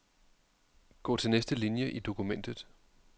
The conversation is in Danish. Gå til næste linie i dokumentet.